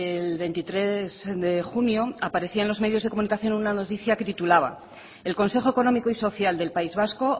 el veintitrés de junio aparecia en los medios de comunicación una noticia que titulaba el consejo económico y social del país vasco